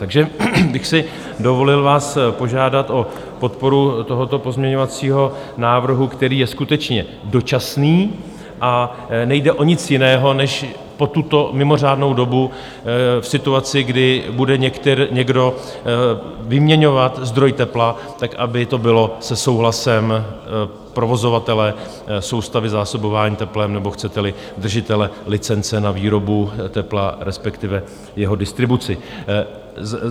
Takže bych si dovolil vás požádat o podporu tohoto pozměňovacího návrhu, který je skutečně dočasný, a nejde o nic jiného než po tuto mimořádnou dobu v situaci, kdy bude někdo vyměňovat zdroj tepla, aby to bylo se souhlasem provozovatele soustavy zásobování teplem, nebo chcete-li, držitele licence na výrobu tepla, respektive jeho distribuci.